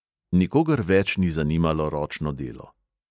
Nikogar več ni zanimalo ročno delo.